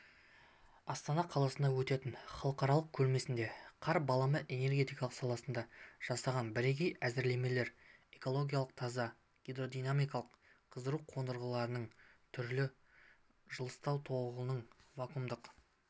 астана қаласында өтетін халықаралық көрмесіне қар баламалы энергетика саласында жасаған бірегей әзірлемелері экологиялық таза гидродинамикалық қыздыру қондырғыларының түрі жылыстау тогының вакуумдық